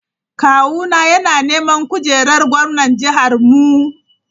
Kawuna yana neman kujerar gwamnan jihar mu.M.m.